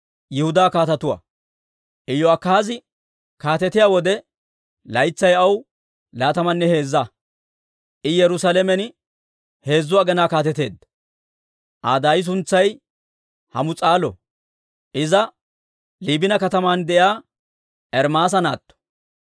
Iyo'akaazi kaatetiyaa wode, laytsay aw laatamanne heezza; I Yerusaalamen heezzu aginaa kaateteedda. Aa daay suntsay Hamus'aalo; iza Liibina kataman de'iyaa Ermaasa naatto.